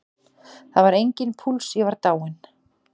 Það var enginn púls, ég var dáinn.